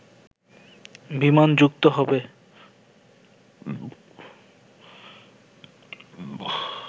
বিমান যুক্ত হবে